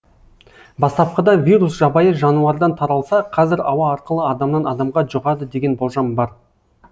бастапқыда вирус жабайы жануардан таралса қазір ауа арқылы адамнан адамға жұғады деген болжам бар